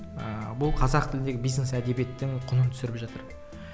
ыыы бұл қазақ тілдегі бизнес әдебиеттің құнын түсіріп жатыр